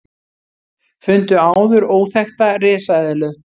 Fundu áður óþekkta risaeðlu